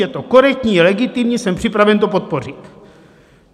Je to korektní, legitimní, jsem připraven to podpořit.